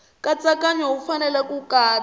nkatsakanyo wu fanele ku katsa